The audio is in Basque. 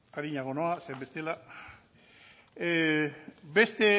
arinago noa zeren bestela beste